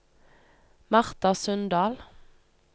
Martha Sundal